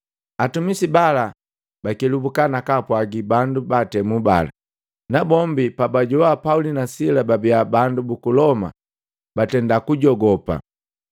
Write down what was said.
Atumisi bala bakelabuka na kaapwagi bandu baatemu bala, na bombi pa bajoana Pauli na Sila babia bandu buku Loma, batenda kujogopa.